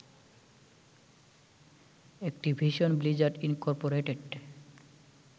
Activision Blizzard Incorporated